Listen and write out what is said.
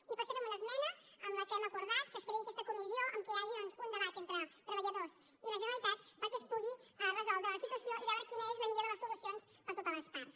i per això fem una esmena en la qual hem acordat que es creï aquesta comissió en què hi hagi doncs un debat entre treballadors i la generalitat perquè es pugui resoldre la situació i veure quina és la millor de les solucions per a totes les parts